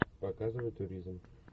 показывай туризм